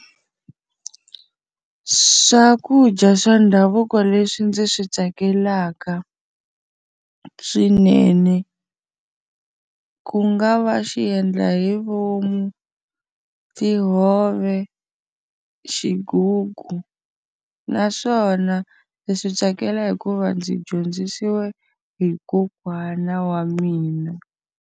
Swakudya swa ndhavuko leswi ndzi swi tsakelaka swinene ku nga va xiendlahivomu, tihove, xigugu. Naswona ndzi swi tsakela hi ku va ndzi dyondzisiwe hi kokwana wa mina.